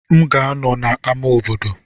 M ga-anọ na ama obodo.